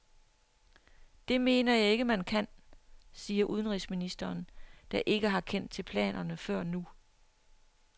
Det mener jeg ikke, man kan, siger udenrigsministeren, der ikke har kendt til planerne før nu.